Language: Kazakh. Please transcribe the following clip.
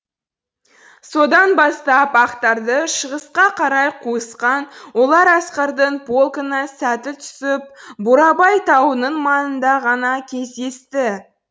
содан бастап ақтарды шығысқа қарай қуысқан олар асқардың полкына сәті түсіп бурабай тауының маңында ғана кездесті